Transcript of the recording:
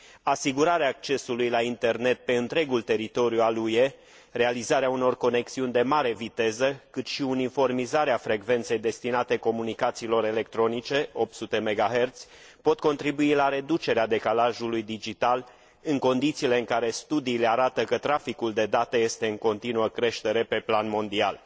Asigurarea accesului la internet pe întregul teritoriu al UE, realizarea unor conexiuni de mare viteză, cât și uniformizarea frecvenței destinate comunicațiilor electronice, 800 MHz, pot contribui la reducerea decalajului digital, în condițiile în care studiile arată că traficul de date este în continuă creștere pe plan mondial.